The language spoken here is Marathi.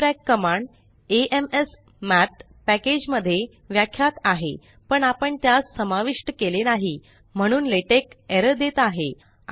dfracकमांड एम्समॅथ पॅकेज मध्ये व्याख्यात आहे पण आपण त्यास समाविष्ट केले नाही म्हणून लेटेक एरर देत आहे